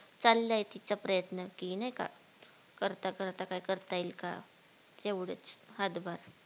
चालाय तिचा प्रयत्न की नाय का करता करता काय करता येईल का? तेवढेच हातभार